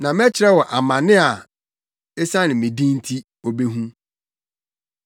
Na mɛkyerɛ no amane a esiane me din nti obehu.”